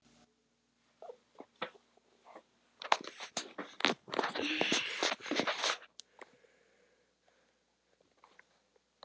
Hún hefði fundið til stolts.